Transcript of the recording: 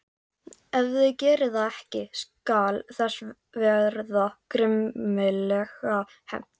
Ef þið gerið það ekki skal þess verða grimmilega hefnt.